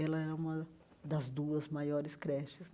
Ela era uma das duas maiores creches.